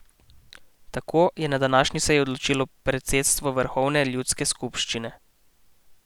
Tako je na današnji seji odločilo predsedstvo vrhovne ljudske skupščine.